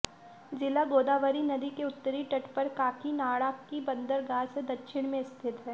ज़िला गोदावरी नदी के उत्तरी तट पर काकीनाड़ा की बंदरगाह से दक्षिण में स्थित है